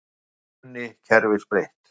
Grunni kerfis breytt